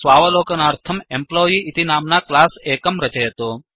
स्वावलोकनार्थम् employee इति नाम्ना class एकं रचयतु